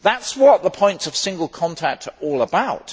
That is what the points of single contact are all about.